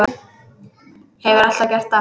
Hefur alltaf gert það.